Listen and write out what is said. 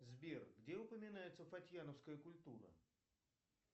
сбер где упоминается фатьяновская культура